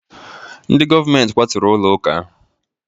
Ndị govamenti kwaturu ụlọ ụka ahụ